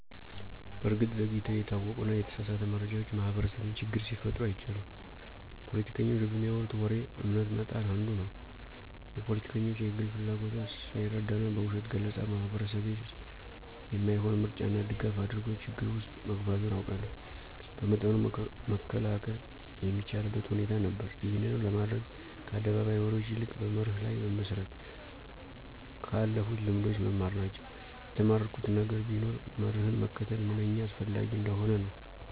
በእርግጥ ዘግይተው የታወቁና የተሳሳተ መረጃዎች ማህበረሰቤን ችግር ሲፈጥሩ አይቻለሁ። ፖለቲከኞች በሚያወሩት ወሬ እምነት መጣል አንዱ ነው። የፖለቲከኞች የግል ፍላጎትን ሳይረዳና በውሸት ገለፃ ማህበረሰቤ የማይሆን ምርጫና ድጋፍ አድርጎ ችግር ውስጥ መግባቱን አውቃለሁ። በመጠኑ መከላከል የሚቻልበት ሁኔታ ነበር። ይህንንም ለማድረግ ከአደባባይ ወሬዎች ይልቅ በመርህ ላይ መመስረት፣ ከአለፉልት ልምዶች መማር ናቸው። የተማርኩት ነገር ቢኖር መርህን መከተል ምንኛ አስፈላጊ እንደሆነ ነው።